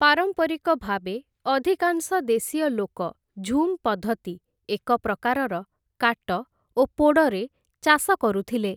ପାରମ୍ପରିକ ଭାବେ, ଅଧିକାଂଶ ଦେଶୀୟ ଲୋକ ଝୁମ୍‌ ପଦ୍ଧତି, ଏକ ପ୍ରକାରର 'କାଟ ଓ ପୋଡ଼'ରେ ଚାଷ କରୁଥିଲେ ।